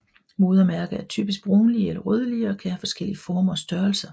Modermærker er typisk brunlige eller rødlige og kan have forskellige former og størrelser